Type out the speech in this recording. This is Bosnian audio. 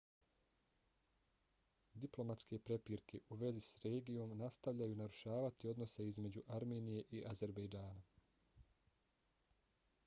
diplomatske prepirke u vezi s regijom nastavljaju narušavati odnose između armenije i azerbejdžana